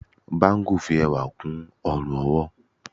bangu fi ẹwà kú ọrun-ọwọ.